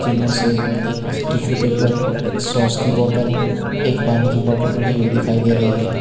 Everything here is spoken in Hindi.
इनमे से एक टिशू पेपर एक सॉस की बोतल एक पानी की बोतल रखी हुई दिखाई दे रही है।